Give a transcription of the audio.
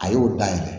A y'o da ye